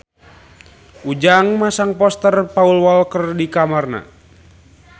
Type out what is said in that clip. Ujang masang poster Paul Walker di kamarna